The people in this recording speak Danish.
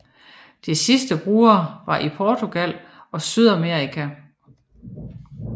De sidste brugere var i Portugal og Sydamerika